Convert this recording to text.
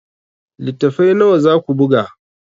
Littattafai nawa za ku buga?